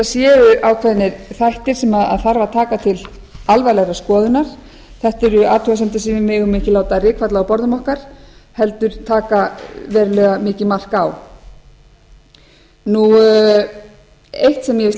séu ákveðnir þættir sem þarf að taka til alvarlegrar skoðunar þetta eru athugasemdir sem við megum ekki láta rykfalla á borðum okkar heldur taka verulega mikið mark á eitt finnst mér